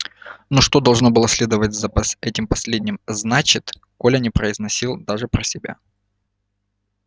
но что должно было следовать за этим последним значит коля не произносил даже про себя